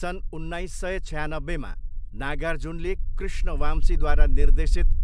सन् उन्नाइस सय छयानब्बेमा, नागार्जुनले कृष्ण वाम्सीद्वारा निर्देशित